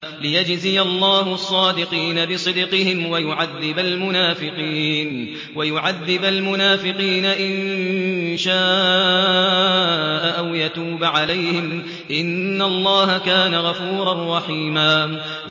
لِّيَجْزِيَ اللَّهُ الصَّادِقِينَ بِصِدْقِهِمْ وَيُعَذِّبَ الْمُنَافِقِينَ إِن شَاءَ أَوْ يَتُوبَ عَلَيْهِمْ ۚ إِنَّ اللَّهَ كَانَ غَفُورًا رَّحِيمًا